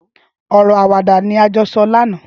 Ọrọ àwádà ni à jọ sọ làná